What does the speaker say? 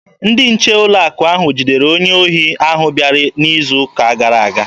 Ndị nche ụlọ akụ ahụ jidere onye ohi ahụ bịara n'izu ụka gara aga.